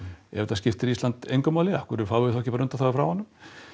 ef þetta skiptir Ísland engu máli af hverju fáum við þá ekki bara undanþágu frá honum